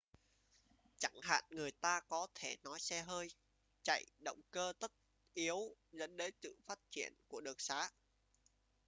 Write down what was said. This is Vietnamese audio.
chẳng hạn người ta có thể nói xe hơi chạy động cơ tất yếu dẫn tới sự phát triển của đường xá